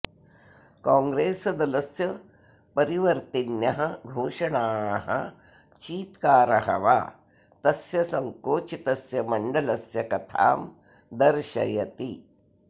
कॉग्रेसदलस्य परिवर्तिन्यः घोषणाः चीत्कारः वा तस्य संकोचितस्य मण्डलस्य कथां दर्शयति